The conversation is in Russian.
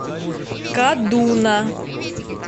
кадуна